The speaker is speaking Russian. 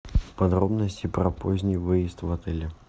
подробности про поздний выезд в отеле